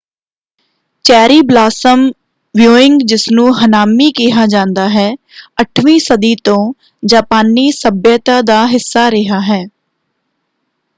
Cherry blossom viewing ਜਿਸਨੂੰ ਹਨਾਮੀ ਕਿਹਾ ਜਾਂਦਾ ਹੈ 8ਵੀਂ ਸਦੀ ਤੋਂ ਜਾਪਾਨੀ ਸੱਭਿਅਤਾ ਦਾ ਹਿੱਸਾ ਰਿਹਾ ਹੈ।